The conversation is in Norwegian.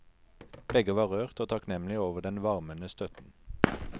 Begge var rørt og takknemlige over den varmende støtten.